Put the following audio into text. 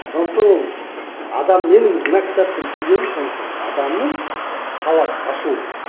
сондықтан ол адам менің мына кітаптан түйгенім сондықтан адамның сауат ашуы